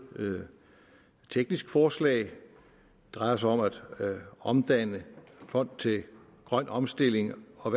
teknisk forslag det drejer sig om at omdanne fond til grøn omstilling og